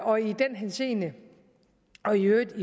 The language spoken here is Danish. og i den henseende og i øvrigt